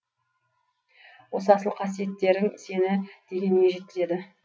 осы асыл қасиеттерің сені дегеніңе жеткізеді